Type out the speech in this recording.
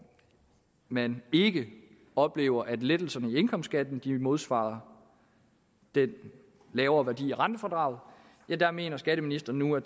man ikke oplever at lettelserne i indkomstskatten modsvarer den lavere værdi af rentefradraget ja der mener skatteministeren nu at